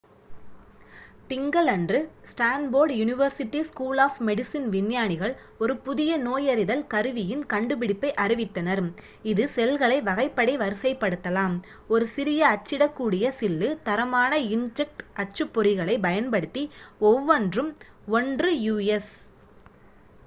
திங்களன்று Stanford University School of Medicine விஞ்ஞானிகள் ஒரு புதிய நோயறிதல் கருவியின் கண்டுபிடிப்பை அறிவித்தனர் இது செல்களை வகைப்படி வரிசைப்படுத்தலாம்: ஒரு சிறிய அச்சிடக்கூடிய சில்லு தரமான இன்க்ஜெட் அச்சுப்பொறிகளைப் பயன்படுத்தி ஒவ்வொன்றும் 1 யு.எஸ்